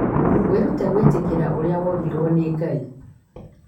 Wĩrute gwĩtĩkĩra ũrĩa wombirũo nĩ Ngai.